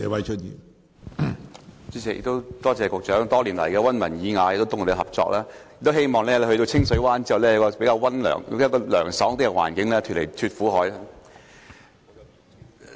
主席，我感謝局長多年來溫文爾雅地通力合作，希望他日後在清水灣會有較涼快的工作環境，從此"脫苦海"。